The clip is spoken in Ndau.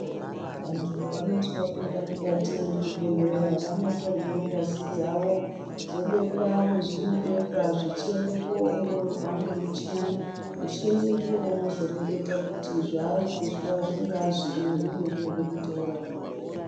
Antu vanoti vapinda mukati muchibhehlera vanotorwa ngazi dzavo dzobekwa masvino bekwa zvechiende kunoongororwa ngemuchini muchini ndiwo unozoreketa kuti zvari kuzwa zvingava zviinyi uye zvingada kuita murapirweyi.